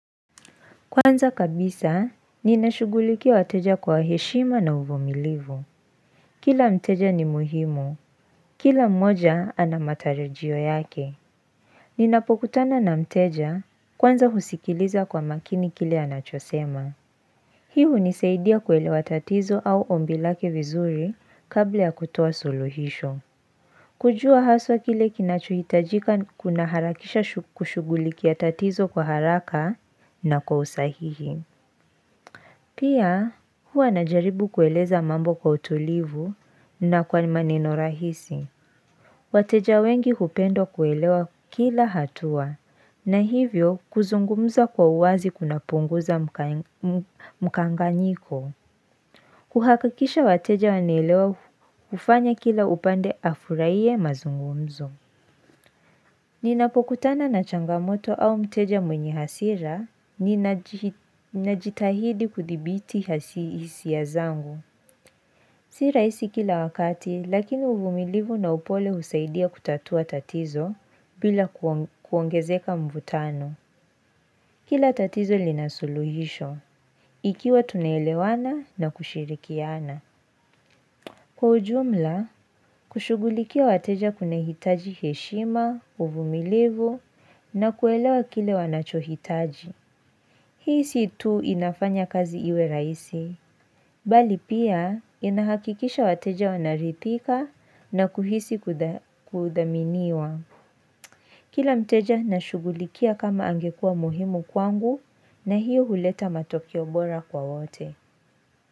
Kwanza kabisa, ninashugulikia wateja kwa heshima na uvumilivu. Kila mteja ni muhimu. Kila mmoja, anamatarajio yake. Ninapokutana na mteja, kwanza husikiliza kwa makini kile anachosema. Hii unisaidia kuelewa tatizo au ombilake vizuri kabla ya kutoa suluhisho. Kujua haswa kile kinachohitajika kuna harakisha kushugulikia tatizo kwa haraka na kwa usahihi. Pia huwa najaribu kueleza mambo kwa utulivu na kwa nima nino rahisi. Wateja wengi upenda kuelewa kila hatua na hivyo kuzungumza kwa uwazi kuna punguza mkanganyiko. Kuhakikisha wateja wanaelewa hufanya kila upande afuraiye mazungumzo. Ninapokutana na changamoto au mteja mwenye hasira, ninajitahidi kudhibiti hisia zangu. Sira isi kila wakati, lakini uvumilivu na upole husaidia kutatua tatizo bila kuongezeka mvutano. Kila tatizo linasuluhisho, ikiwa tunaelewana na kushirikiana. Kwa ujumla, kushugulikia wateja kuna hitaji heshima, uvumilivu, na kuelewa kile wanachohitaji. Hii situ inafanya kazi iwe raisi, bali pia inahakikisha wateja wanarithika na kuhisi kudhaminiwa. Kila mteja nashugulikia kama angekua muhimu kwangu, na hiyo huleta matokeobora kwa wote.